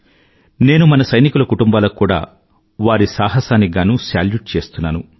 నేను మన సైనికుల కుటుంబాలకు కూడా వారి సాహసానికి గానూ సెల్యూట్ చేస్తున్నాను